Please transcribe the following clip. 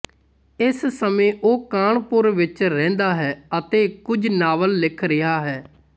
ਇਸ ਸਮੇਂ ਉਹ ਕਾਨਪੁਰ ਵਿੱਚ ਰਹਿੰਦਾ ਹੈ ਅਤੇ ਕੁਝ ਨਾਵਲ ਲਿਖ ਰਿਹਾ ਹੈ